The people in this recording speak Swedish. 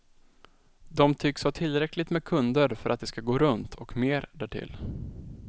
De tycks ha tillräckligt med kunder för att det ska gå runt, och mer därtill.